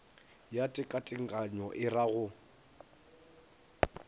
ya tekatekanyo e ra go